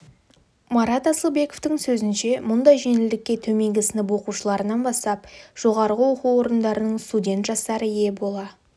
марат асылбековтың сөзінше мұндай жеңілдікке төменгі сынып оқушыларынан бастап жоғарғы оқу орындарының студент жастары ие бола